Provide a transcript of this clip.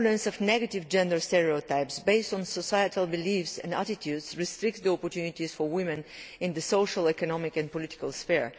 The prevalence of negative gender stereotypes based on societal beliefs and attitudes restricts the opportunities for women in the social, economic and political sphere.